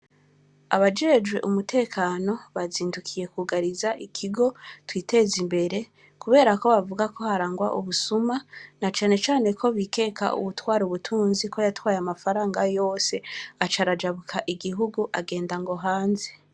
Abajejwe umutekano, bazindukiye kwugariza ikigo Twitezimbere, kubera ko bavuga ko harangwa ubusuma, na cane cane ko bikeka uwutwara ubutunzi, ko yatwaye amafaranga yose, aca arajabuka igihugu, agenda ngo hanze.